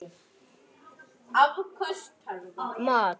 Gott meðlæti með öllum mat.